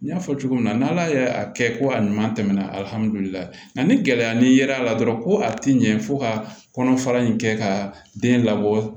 N y'a fɔ cogo min na n'ala y'a kɛ ko a ɲuman tɛmɛna alihamudulilayi nga ni gɛlɛya nira la dɔrɔn ko a ti ɲɛ fo ka kɔnɔfara in kɛ ka den labɔ